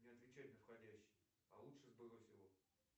не отвечай на входящий а лучше сбрось его